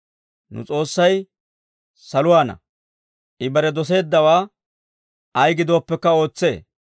Nu S'oossay saluwaana; I bare doseeddawaa ay gidooppekka ootsee.